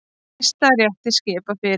Hæstarétti skipað fyrir